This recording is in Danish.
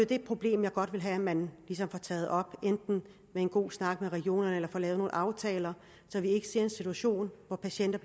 det problem jeg godt vil have at man ligesom får taget op enten ved en god snak med regionerne eller få lavet nogle aftaler så vi ikke ser en situation hvor patienter